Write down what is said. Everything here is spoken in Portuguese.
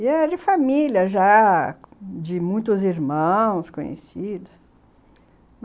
E era de família já, de muitos irmãos conhecidos.